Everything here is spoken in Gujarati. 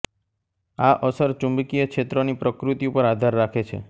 આ અસર ચુંબકીય ક્ષેત્રની પ્રકૃતિ ઉપર આધાર રાખે છે